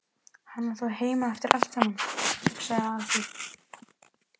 Hann var þá heima eftir allt saman, hugsaði Aðalsteinn.